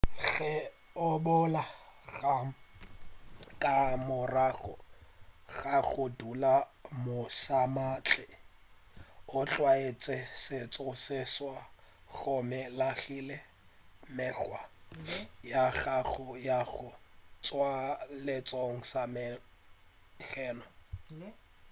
ge o boela gae ka morago ga go dula mošamawatle o tlwaetše setšo se seswa gomme o lahlile mekgwa ya gago ya go tšwa setšong sa geno